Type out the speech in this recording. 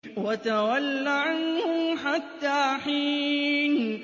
وَتَوَلَّ عَنْهُمْ حَتَّىٰ حِينٍ